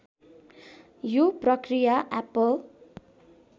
यो प्रक्रिया एप्पल